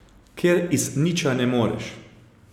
Ker iz niča ne moreš.